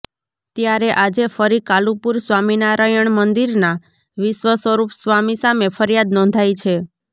ત્યારે આજે ફરી કાલુપુર સ્વામિનારાયણ મંદિરના વિશ્વસ્વરૂપ સ્વામી સામે ફરિયાદ નોંધાઈ છે